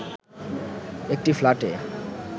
একটি ফ্ল্যাটে